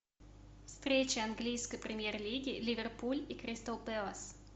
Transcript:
встреча английской премьер лиги ливерпуль и кристал пэлас